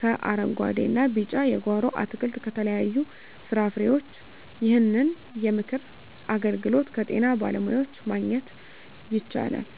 ከአረንጉአዴ እና ቢጫ የጓሮ አትክልት ከተለያዩ ፍራፍሬዎች ይህንን የምክር አገልግሎት ከጤና ባለሙያዎች ማግኘት ይቻላል።